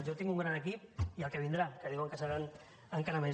jo tinc un gran equip i el que vindrà que diuen que ho serà encara més